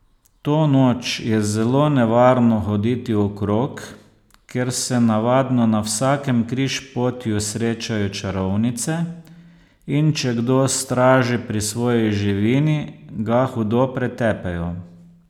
To noč je zelo nevarno hoditi okrog, ker se navadno na vsakem križpotju srečajo čarovnice, in če kdo straži pri svoji živini, ga hudo pretepejo.